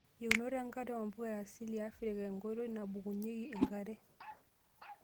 Yienot enkare oo mpuka e asili e Afrika onkoitoi naabukokinyieki enkare.